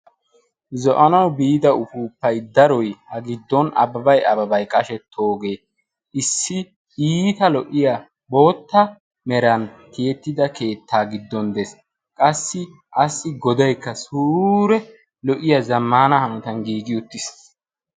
zo7anawu biida ufupai daroi a giddon abbabai ababai qashe toogee issi iita lo77iya bootta meran tiyettida keettaa giddon de7es qassi assi godaikka suure lo77iya zammana hanatan giigi uttiis